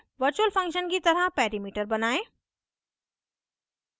virtual function की तरह perimeter बनायें